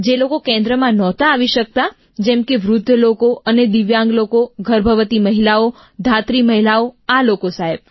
જે લોકો કેન્દ્રમાં નહોતા આવી શકતા જેમ કે વૃદ્ધ લોકો અને દિવ્યાંગ લોકો ગર્ભવતી મહિલાઓ ધાત્રી મહિલાઓ આ લોકો સાહેબ